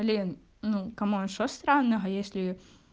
блин ну камон что странного если